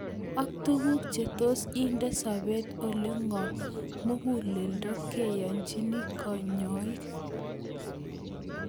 Ak tuguk che tos inde sobet ole ng'om mug'uleldo keyanchini kanyoik